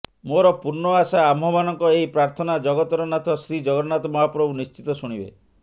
ମୋର ପୂର୍ଣ୍ଣ ଆଶା ଆମ୍ଭମାନଙ୍କ ଏହି ପ୍ରାର୍ଥନା ଜଗତର ନାଥ ଶ୍ରୀ ଜଗନ୍ନାଥ ମହାପ୍ରଭୁ ନିଶ୍ଚିତ ଶୁଣିବେ